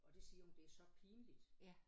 Og det siger hun det så pinligt